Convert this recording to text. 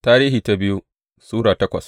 biyu Tarihi Sura takwas